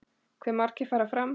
Hve margir fara fram?